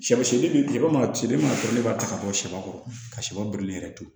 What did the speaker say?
Sɛbo tilema mana seri e ma ne b'a ta ka bɔ sɛ kɔrɔ ka shɛ birilen yɛrɛ to yen